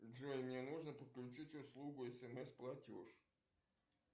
джой мне нужно подключить услугу смс платеж